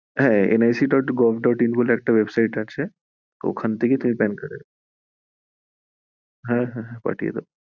হ্যাঁ nisc. gov. in বলে একটা site আছে ওখান থেকেই তুমি pan card এর, হ্যাঁ হ্যাঁ পাঠিয়ে দেব।